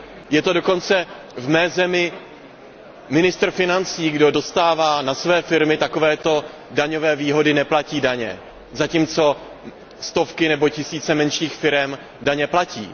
V mé zemi je to dokonce ministr financí, kdo dostává na své firmy takovéto daňové výhody, neplatí daně, zatímco stovky nebo tisíce menších firem daně platí.